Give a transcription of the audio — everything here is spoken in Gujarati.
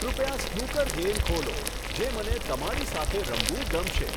કૃપયા સ્નૂકર ગેમ ખોલો જે મને તમારી સાથે રમવું ગમશે